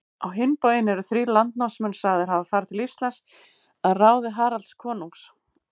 Á hinn bóginn eru þrír landnámsmenn sagðir hafa farið til Íslands að ráði Haralds konungs.